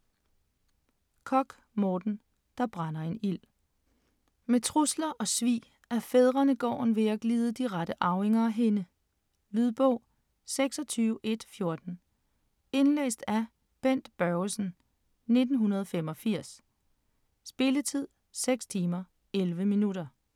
Korch, Morten: Der brænder en ild Med trusler og svig er fædrenegården ved at glide de rette arvinger af hænde. Lydbog 26114 Indlæst af Bent Børgesen, 1985. Spilletid: 6 timer, 11 minutter.